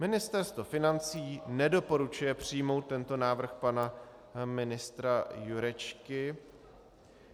Ministerstvo financí nedoporučuje přijmout tento návrh pana ministra Jurečky.